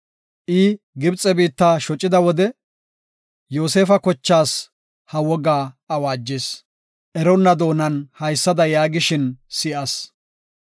I Gibxe biitta shocida wode, Yoosefa kochaas ha wogaa awaajis. Eronna doonan haysada yaagishin si7as;